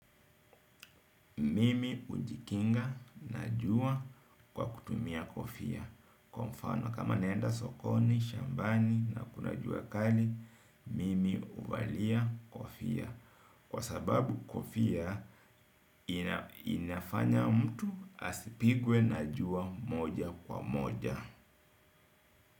Mimi hujikinga na jua kwa kutumia kofia kwa mfano kama naenda sokoni, shambani na kuna jua kali mimi huvalia kofia kwa sababu kofia inafanya mtu asipigwe na jua moja kwa moja.